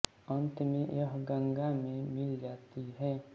अन्त में यह गंगा में मिल जाती है